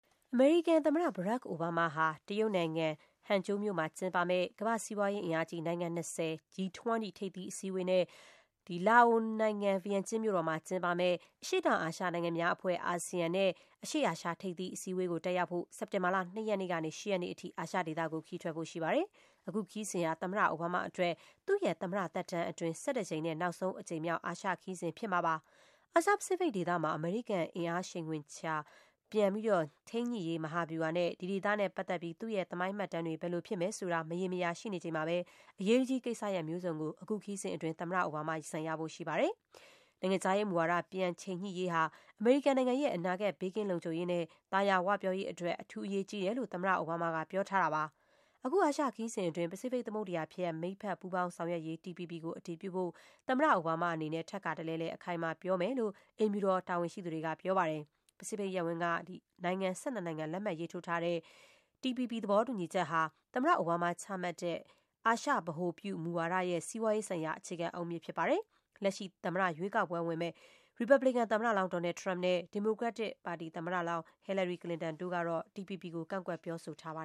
အမေရိကန်သမ္မတ ဘရာ့ခ် အိုဘားမားဟာ တရုတ်နိုင်ငံ၊ Hangzhou မြို့မှာကျင်းပမယ့် ကမ္ဘာ့စီးပွားရေးအင်အားကြီး နိုင်ငံ ၂၀ G20 ထိပ်သီးအစည်းအဝေးနဲ့လာအိုနိုင်ငံ၊ ဗီယန်ကျင်းမြို့တော်မှာ ကျင်းပမယ့် အရှေ့တောင်အာရှနိုင်ငံများအဖွဲ့ ASEAN နဲ့ အရှေ့အာရှထိပ်သီးအစည်းအဝေးကို တက်ရောက်ဖို့ စက်တင်ဘာလ ၂ ရက်နေ့ကနေ ၈ ရက်နေ့အထိ အာရှဒေသကို ခရီးထွက် ဖို့ရှိပါတယ်။ အခုခရီးစဉ်ဟာ သမ္မတအိုဘားမားအတွက် သူ့ရဲ့သမ္မတသက်တမ်းအတွင်း ၁၁ ကြိမ်နဲ့ နောက်ဆုံးအကြိမ်မြောက် အာရှခရီးစဉ် ဖြစ်မှာပါ။ အာရှ-ပစိဖိတ်ဒေသမှာ အမေရိကန် အင်အားချိန်ခွင်လျှာ ပြန်ထိန်းညှိရေး မဟာဗျူဟာနဲ့ ဒီဒေသနဲ့ပတ်သက်ပြီး သူ့ရဲ့ သမိုင်းမှတ်တမ်းတွေ ဘယ်လိုဖြစ်မယ်ဆိုတာ မရေမရာရှိနေချိန်မှာပဲ အရေးတကြီးကိစ္စရပ်မျိုးစုံကို အခုခရီးစဉ်အတွင်း သမ္မတအိုဘားမား ရင်ဆိုင်ရဖို့ရှိပါတယ်။ နိုင်ငံခြားရေးမူဝါဒ ပြန် ချိန်ညှိရေးဟာ အမေရိကန်နိုင်ငံရဲ့ အနာဂတ် ဘေးကင်းလုံခြုံရေး နဲ့ သာယာဝပြောရေးအတွက် အထူး အရေးကြီးတယ်လို့ သမ္မတ အိုဘားမားက ပြောထားတာပါ။ အခုအာရှခရီးစဉ်အတွင်း ပစိဖိတ်သမုဒ္ဒရာဖြတ် မိတ်ဘက် ပူးပေါင်း ဆောင်ရွက်ရေး TPP ကို အတည်ပြုဖို့ သမ္မတအိုဘားမားအနေနဲ့ ထပ်ခါတလဲလဲ အခိုင်အမာပြောမယ်လို့ အိမ်ဖြူတော် တာဝန်ရှိသူတွေက ပြောပါတယ်။ ပစိဖိတ်ရပ်ဝန်းက နိုင်ငံ ၁၂ နိုင်ငံ လက်မှတ်ရေးထိုးထား တဲ့ ဒီ TPP သဘောတူညီချက်ဟာ သမ္မတ အိုဘားမားချမှတ်တဲ့ အာရှဗဟိုပြုမူဝါဒရဲ့ စီးပွားရေးဆိုင်ရာ အခြေခံအုတ်မြစ်ဖြစ်ပါ တယ်။ လက်ရှိသမ္မတရွေးကောက်ပွဲဝင်မယ့် ရီပတ်ဘလီကန် သမ္မတလောင်း Donald Trump နဲ့ ဒီမိုကရက်သမ္မတလောင်း ဟီလာရီ ကလင်တန်တို့က TPP ကို ကန့်ကွက် ပြောဆိုထားပါ